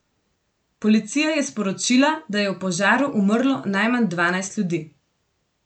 Policija je sporočila, da je v požaru umrlo najmanj dvanajst ljudi.